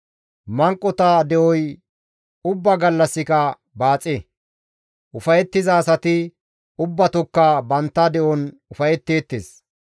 Manqota de7oy ubbaa gallassika baaxe. Ufayettiza asati ubbatokka bantta de7on ufayetteettes